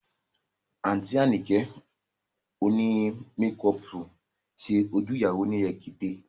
Àǹtí Àyìnkẹ́ òní mekọọ̀pù ṣe ojú ìyàwó ní rekete